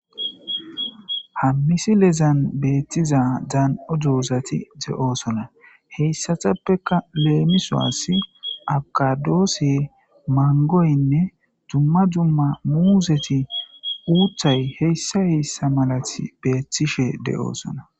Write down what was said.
Haa missilezanni bettiza dani''o dozatti de'osona .heyissatippekka lemisuwassi abikadose,manigoyinne dumma dumma muzetti,uththayi hessa hessa malatti bettishshe de'osona.